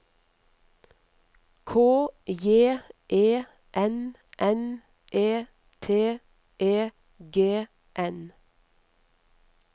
K J E N N E T E G N